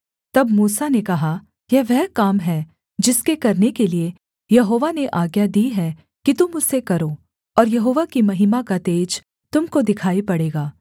तब मूसा ने कहा यह वह काम है जिसके करने के लिये यहोवा ने आज्ञा दी है कि तुम उसे करो और यहोवा की महिमा का तेज तुम को दिखाई पड़ेगा